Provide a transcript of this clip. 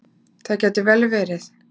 Það gæti vel verið.